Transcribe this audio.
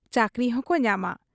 ᱪᱟᱹᱠᱨᱤᱦᱚᱸᱠᱚ ᱧᱟᱢᱟ ᱾